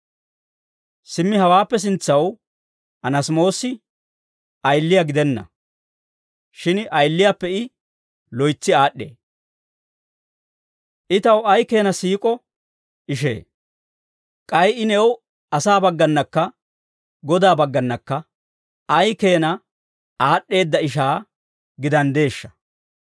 Simmi hawaappe sintsaw Anaasimoosi ayiliyaa gidenna; shin ayiliyaappe I loytsi aad'd'ee; I taw ay keena siik'o ishee! K'ay I new asaa baggaanakka Godaa baggaanakka ay keena aad'd'eedda ishaa gidanddeeshsha!